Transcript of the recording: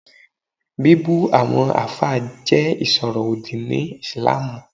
Bíbu àwọn àfáà jẹ́ ìsọ̀rọ̀ òdì ni ìslamù